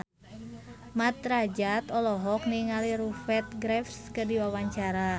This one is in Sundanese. Mat Drajat olohok ningali Rupert Graves keur diwawancara